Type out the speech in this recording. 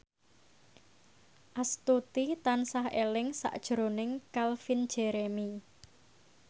Astuti tansah eling sakjroning Calvin Jeremy